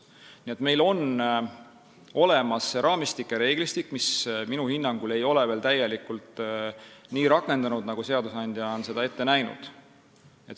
Nii et meil on olemas raamistik ja reeglistik, mis minu hinnangul ei ole veel täielikult nii rakendunud, nagu seadusandja on ette näinud.